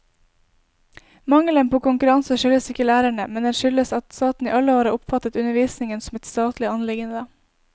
Mangelen på konkurranse skyldes ikke lærerne, men den skyldes at staten i alle år har oppfattet undervisningen som et statlig anliggende.